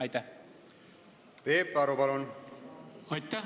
Aitäh!